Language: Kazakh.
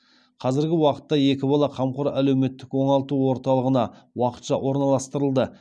қазіргі уақытта екі бала қамқор әлеуметтік оңалту орталығына уақытша орналастырылды